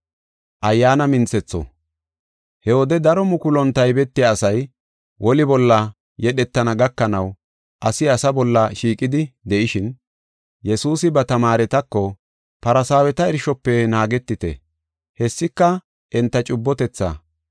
He wode daro mukulun taybetiya asay woli bolla yedhetana gakanaw asi asa bolla shiiqidi de7ishin, Yesuusi ba tamaaretako, “Farsaaweta irshofe naagetite. Hessika enta cubbotethaa.